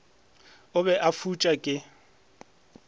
a be a fuša ke